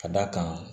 Ka d'a kan